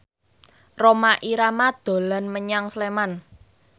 Rhoma Irama dolan menyang Sleman